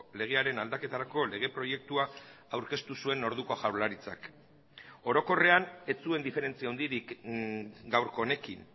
legearen aldaketarako lege proiektua aurkeztu zuen orduko jaurlaritzak orokorrean ez zuen diferentzia handirik gaurko honekin